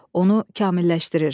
Onu kamilləşdirir.